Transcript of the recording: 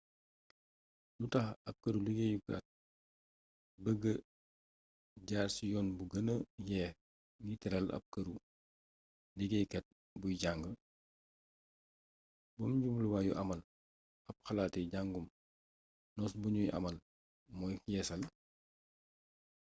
lu tax ab këru-liggéeyukaat bëgg a jaar ci yoon bi gëna yeex ngir tëral ab këru-liggéeykaat buy jang benn jubluwaayu amal ab xalaati jàngum nos buñuy amal mooy yeesal